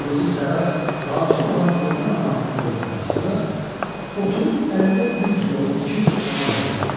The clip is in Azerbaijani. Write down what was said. Yusif Sərrac vacib olan günorta namazını qıldıqdan sonra oturub əlində bir cılovu tikib tamam edirdi.